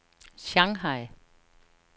Shanghai